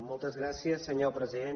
moltes gràcies senyor president